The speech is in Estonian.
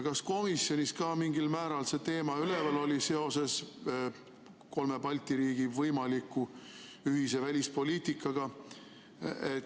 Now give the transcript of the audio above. Kas komisjonis ka mingil määral see teema üleval oli seoses kolme Balti riigi võimaliku ühise välispoliitikaga?